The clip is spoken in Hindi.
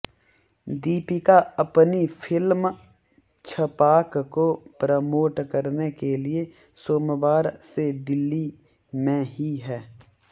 दीपिका अपनी फ़िल्म छपाक को प्रमोट करने के लिए सोमवार से दिल्ली में ही हैं